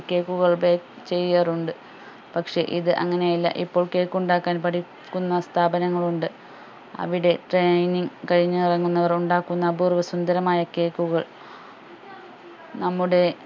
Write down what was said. cake കൾ bake ചെയ്യാറുണ്ട് പക്ഷെ ഇത് അങ്ങനെയല്ല ഇപ്പോൾ cake ഉണ്ടാക്കാൻ പഠിക്കുന്ന സ്ഥാപനങ്ങൾ ഉണ്ട് അവിടെ training കഴിഞ്ഞു ഇറങ്ങുന്നവർ ഉണ്ടാക്കുന്ന അപൂർവ സുന്ദരമായ cake കൾ നമ്മുടെ